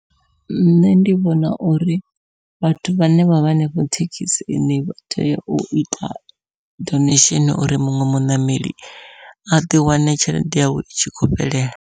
Nṋe ndi vhona uri vhathu vhane vha vha hanefho thekhisini vha tea u ita donation, uri muṅwe muṋameli a ḓi wane tshelede yawe i tshi khou fhelela.